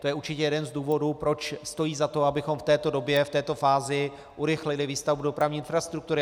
To je určitě jeden z důvodů, proč stojí za to, abychom v této době, v této fázi urychlili výstavbu dopravní infrastruktury.